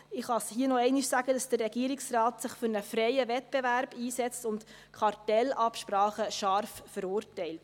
Ich kann hier noch einmal sagen, dass der Regierungsrat sich für einen freien Wettbewerb einsetzt und Kartellabsprachen scharf verurteilt.